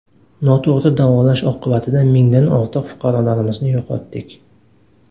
Noto‘g‘ri davolash oqibatida mingdan ortiq fuqarolarimizni yo‘qotdik.